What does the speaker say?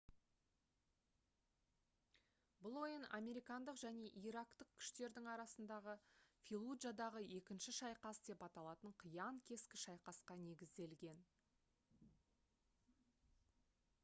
бұл ойын американдық және ирактық күштердің арасындағы «феллуджадағы екінші шайқас» деп аталатын қиян-кескі шайқасқа негізделген